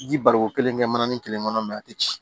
Ji bali ko kelen kɛ mana nin kelen kɔnɔ a tɛ ci